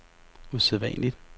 usædvanlig